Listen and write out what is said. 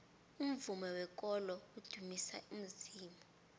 umvumo wekolo udumisa uzimu